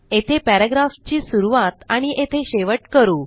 येथे पॅराग्राफची सुरूवात आणि येथे शेवट करू